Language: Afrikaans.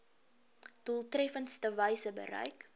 doeltreffendste wyse bereik